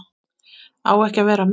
Á ekki að vera meir.